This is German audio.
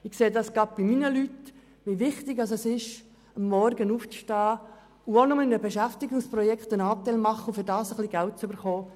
Ich sehe gerade bei meinen Leuten, wie wichtig es ist, am Morgen aufzustehen, wenn auch nur, um in einem Beschäftigungsprojekt mitzumachen und dafür ein bisschen Geld zu bekommen.